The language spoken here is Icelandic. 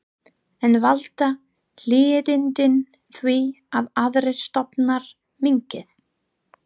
En valda hlýindin því að aðrir stofnar minnki?